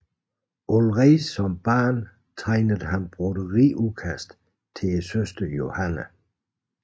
Allerede som barn tegnede han broderiudkast til søsteren Johanne